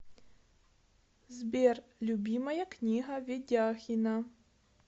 сбер любимая книга ведяхина